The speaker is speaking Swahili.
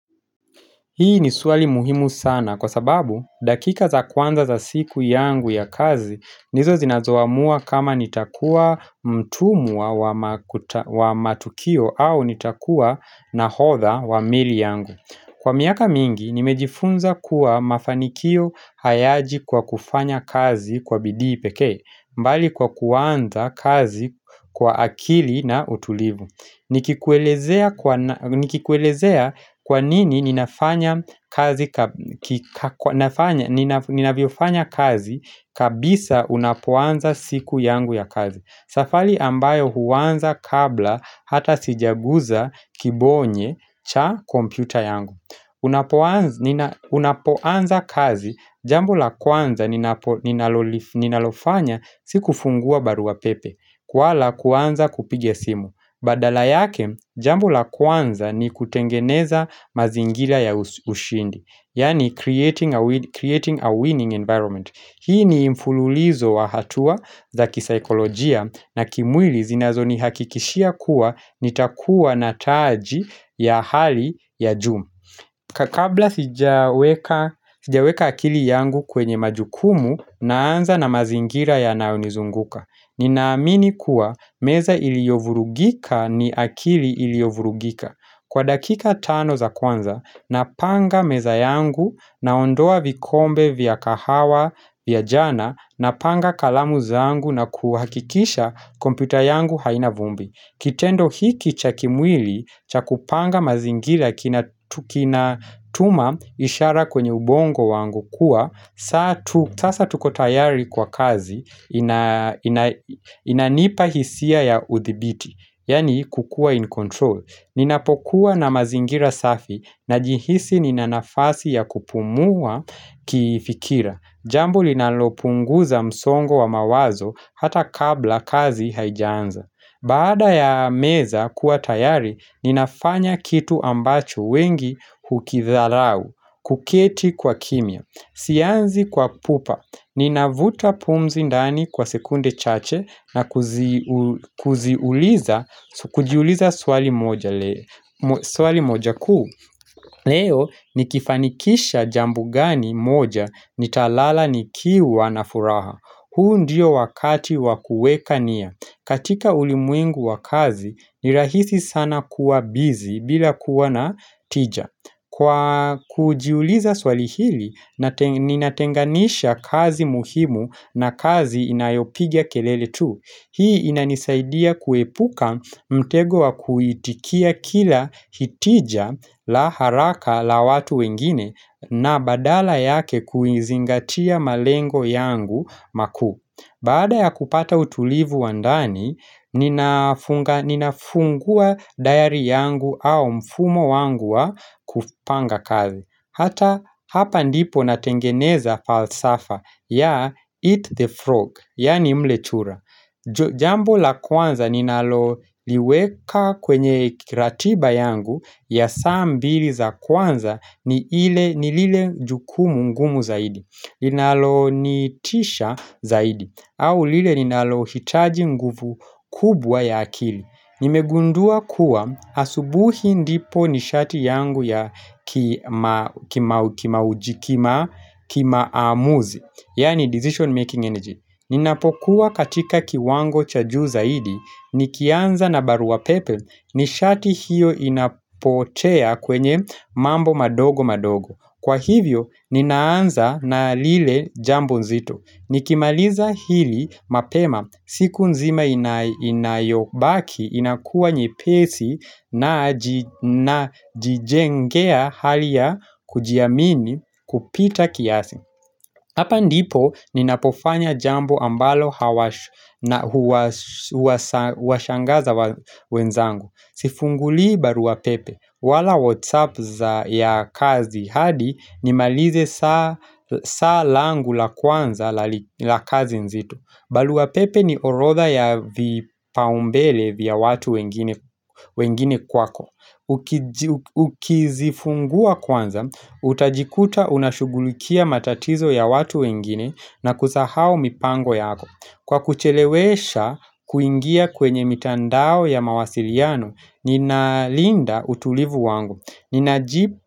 Hii ni swali muhimu sana kwa sababu dakika za kwanza za siku yangu ya kazi ndizo zinazoamua kama nitakua mtumwa wa matukio au nitakua nahodha wa meli yangu Kwa miaka mingi nimejifunza kuwa mafanikio hayaji kwa kufanya kazi kwa bidii pekee bali kwa kuanza kazi kwa akili na utulivu Nikikuelezea kwa nini ninafanya kazi kabisa unapoanza siku yangu ya kazi Safali ambayo huanza kabla hata sijaguza kibonye cha kompyuta yangu Unapoanza kazi jambo la kwanza ninalofanya si kufungua barua pepe wala kuanza kupiga simu Badala yake, jambo la kwanza ni kutengeneza mazingira ya ushindi Yaani creating a winning environment Hii ni mfululizo wa hatua za kisaikolojia na kimwili zinazonihakikishia kuwa nitakuwa na taji ya hali ya juu ka kabla sijaweka akili yangu kwenye majukumu naanza na mazingira yanayonizunguka Ninaamini kuwa meza iliyovurugika ni akili iliyovurugika Kwa dakika tano za kwanza napanga meza yangu naondoa vikombe vya kahawa vya jana Napanga kalamu zangu na kuhakikisha kompyuta yangu haina vumbi Kitendo hiki cha kimwili cha kupanga mazingira kinatuma ishara kwenye ubongo wangu kuwa Sasa tuko tayari kwa kazi inanipa hisia ya uthibiti Yaani kukua in control Ninapokuwa na mazingira safi najihisi nina nafasi ya kupumua kifikira Jambo linalopunguza msongo wa mawazo hata kabla kazi haijaanza Baada ya meza kuwa tayari ninafanya kitu ambacho wengi hukidharau kuketi kwa kimya Sianzi kwa pupa, ninavuta pumzi ndani kwa sekunde chache na kujiuliza swali moja kuu Leo nikifanikisha jambo gani moja nitalala nikiwa na furaha huu ndio wakati wa kueka nia katika ulimwengu wa kazi, ni rahisi sana kuwa busy bila kuwa na tija Kwa kujiuliza swali hili, ninatenganisha kazi muhimu na kazi inayopiga kelele tu. Hii inanisaidia kuepuka mtego wa kuitikia kila hitija la haraka la watu wengine na badala yake kuizingatia malengo yangu makuu. Baada ya kupata utulivu wa ndani, ninafungua diary yangu au mfumo wangu wa kupanga kazi Hata hapa ndipo natengeneza falsafa ya eat the frog, yaani mle chura Jambo la kwanza ninaloliweka kwenye kiratiba yangu ya saa mbili za kwanza ni lile jukumu ngumu zaidi Iinalonitisha zaidi au lile ninalohitaji nguvu kubwa ya akili Nimegundua kuwa asubuhi ndipo nishati yangu ya kima ujikima kimaamuzi Yaani decision making energy Ninapokuwa katika kiwango cha juu zaidi Nikianza na barua pepe nishati hiyo inapotea kwenye mambo madogo madogo Kwa hivyo, ninaanza na lile jambo nzito. Nikimaliza hili mapema, siku nzima inayobaki inakua nyepesi najijengea hali ya kujiamini kupita kiasi. Hapa ndipo ninapofanya jambo ambalo huwashangaza wenzangu Sifungulii barua pepe wala whatsapp za ya kazi hadi nimalize saa langu la kwanza la kazi nzito barua pepe ni orodha ya vipaumbele vya watu wengine kwako Ukizifungua kwanza, utajikuta unashughulikia matatizo ya watu wengine na kusahau mipango yako Kwa kuchelewesha kuingia kwenye mitandao ya mawasiliano, ninalinda utulivu wangu, ninajipa.